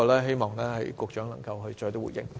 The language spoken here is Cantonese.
希望局長可以回應。